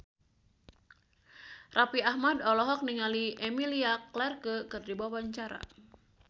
Raffi Ahmad olohok ningali Emilia Clarke keur diwawancara